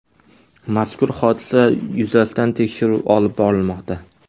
Mazkur hodisa yuzasidan tekshiruv olib borilmoqda.